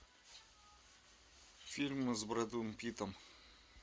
фильмы с брэдом питтом